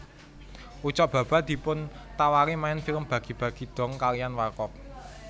Ucok Baba dipuntawari main film Bagi bagi Dong kaliyan Warkop